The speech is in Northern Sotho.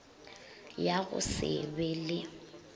ya go se be le